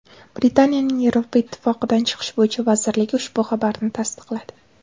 Britaniyaning Yevropa Ittifoqidan chiqish bo‘yicha vazirligi ushbu xabarni tasdiqladi .